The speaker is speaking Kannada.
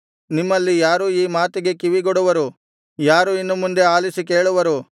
ನಿಮ್ಮಲ್ಲಿ ಯಾರು ಈ ಮಾತಿಗೆ ಕಿವಿಗೊಡುವರು ಯಾರು ಇನ್ನು ಮುಂದೆ ಆಲಿಸಿ ಕೇಳುವರು